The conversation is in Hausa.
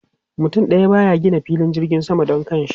Mutum daya ba ya gina filin jirgin sama don kanshi.